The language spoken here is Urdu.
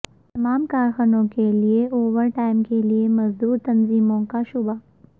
تمام کارکنوں کے لئے اوورٹیوم کے لئے مزدور تنظیموں کے شعبہ